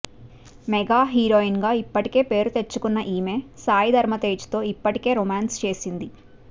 mega heroine గా ఇప్పటికే పేరు తెచ్చుకున్న ఈమె సాయి ధరం తేజ తో ఇప్పటికే రోమాన్స్ చేసింది